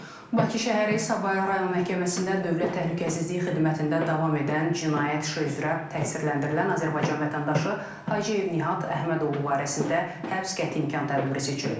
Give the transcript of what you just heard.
Bakı şəhəri Sabunçu rayon məhkəməsində Dövlət Təhlükəsizlik Xidmətində davam edən cinayət işi üzrə təqsirləndirilən Azərbaycan vətəndaşı Hacıyev Nihat Əhmədoğlu barəsində həbs qəti imkan tədbiri seçilib.